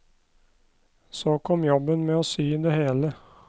Så kom jobben med å sy det hele.